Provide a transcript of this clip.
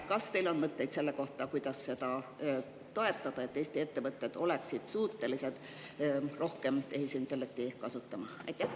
Kas teil on mõtteid selle kohta, kuidas seda toetada, et Eesti ettevõtted oleksid suutelised rohkem tehisintellekti kasutama?